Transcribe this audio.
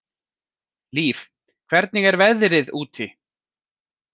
Líf, hvernig er veðrið úti?